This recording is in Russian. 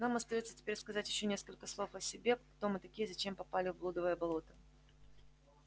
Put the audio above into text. нам остаётся теперь сказать ещё несколько слов о себе кто мы такие и зачем попали в блудово болото